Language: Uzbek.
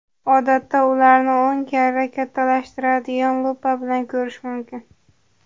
Odatda ularni o‘n karra kattalashtiradigan lupa bilan ko‘rish mumkin.